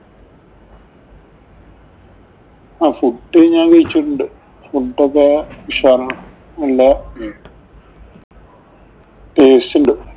ആഹ് food ഞാന്‍ കഴിച്ചിട്ടുണ്ട്. Food ഒക്കെ ഉഷാറാണ്. നല്ലേ taste ഉണ്ട്.